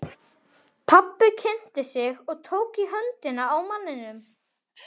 Pabbi kynnti sig og tók í höndina á manninum.